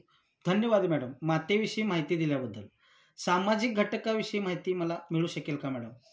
धन्यवाद मॅडम मातेविषयी माहिती दिल्याबद्दल. सामाजिक घटकाविषयी मला माहिती मिळू शकेल का मॅडम?